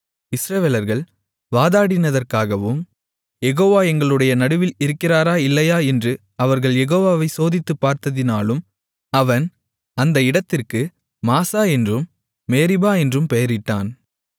இஸ்ரவேலர்கள் வாதாடினதற்காகவும் யெகோவா எங்களுடைய நடுவில் இருக்கிறாரா இல்லையா என்று அவர்கள் யெகோவாவை சோதித்துப் பார்த்ததினாலும் அவன் அந்த இடத்திற்கு மாசா என்றும் மேரிபா என்றும் பெயரிட்டான்